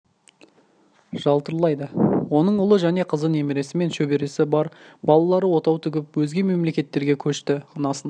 жалтырлайды оның ұлы және қызы немересі мен шөбересі бар балалары отау тігіп өзге мемлекеттерге көшті анасын